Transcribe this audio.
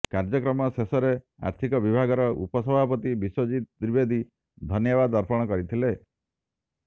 କାର୍ଯ୍ୟକ୍ରମ ଶେଷରେ ଆର୍ଥିକ ବିଭାଗର ଉପସଭାପତି ବିଶ୍ୱଜିତ୍ ଦ୍ୱିବେଦୀ ଧନ୍ୟବାଦ ଅର୍ପଣ କରିଥିଲେ